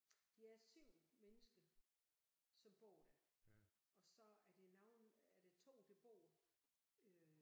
De er 7 mennesker som bor der og så er der nogle er der 2 der bor øh